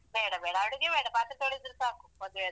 ಬೇಡ ಬೇಡ ಅಡುಗೆ ಬೇಡ ಪಾತ್ರೆ ತೊಳಿದ್ರೆ ಸಾಕು, ಮದುವೆದ್ದು.